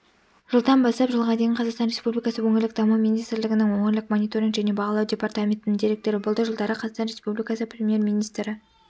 жылдан бастап жылға дейін қазақстан республикасы өңірлік даму министрлігінің өңірлік мониторинг және бағалау департаментінің директоры болды жылдары қазақстан республикасы премьер-министрінің